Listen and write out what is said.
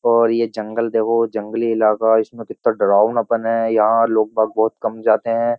और ये जंगल देखो जंगली इलाका इसमें कितना डरावनापन है। यहाँ लोग बाग बोहत कम जाते हैं।